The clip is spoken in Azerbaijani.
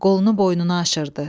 Qolunu boynuna aşırdı.